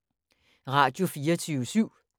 Radio24syv